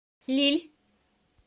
лилль